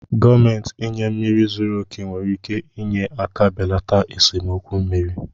Gọọmenti inye mmiri zuru oke nwere ike inye aka belata esemokwu mmiri